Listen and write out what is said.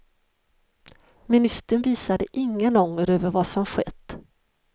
Ministern visade ingen ånger över vad som skett.